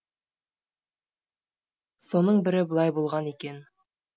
соның бірі былай болған екен